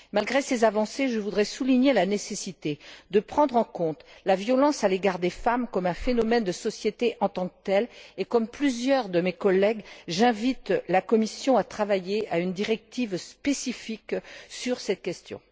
Malgré ces avancées, je voudrais souligner la nécessité de prendre en compte la violence à l'égard des femmes comme un phénomène de société en tant que tel et, comme plusieurs de mes collègues, j'invite la Commission à travailler à une directive spécifique sur cette question.